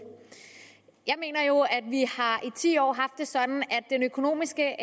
jeg mener jo at vi i ti år har det sådan at den økonomiske